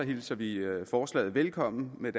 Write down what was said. hilser vi forslaget velkommen med